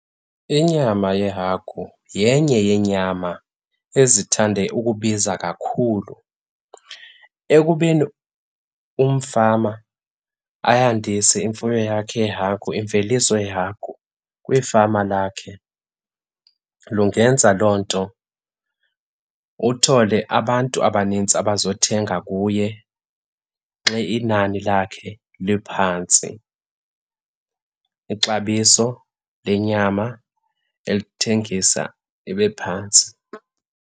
Inyama yehagu yenye yeenyama ezithande ukubiza kakhulu. Ekubeni umfama ayandise imfuyo yakhe yeehagu, imveliso yehagu kwifama lakhe, lungenza loo nto uthole abantu abanintsi abazothenga kuye xa inani lakhe liphantsi, ixabiso lenyama elithengisa libe phantsi.